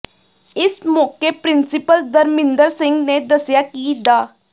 ਇਸ ਮੌਕੇ ਪਿ੍ਰੰਸੀਪਲ ਧਰਮਿੰਦਰ ਸਿੰਘ ਨੇ ਦੱਸਿਆ ਕਿ ਡਾ